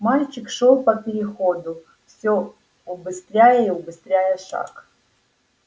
мальчик шёл по переходу всё убыстряя и убыстряя шаг